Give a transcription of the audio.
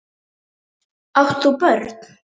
Átt þú börn?